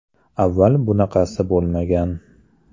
Avval bunaqasi bo‘lmagan.